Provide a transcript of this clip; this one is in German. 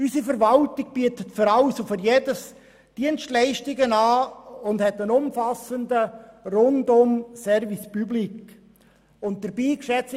Unsere Verwaltung bietet einen rundum umfassenden Service public in jedem Bereich an.